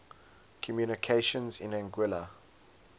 communications in anguilla